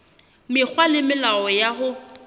mekgwa le melao ya ho